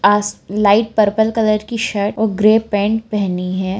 आस light purple colour की shirt और grey pant पेहनी हैं।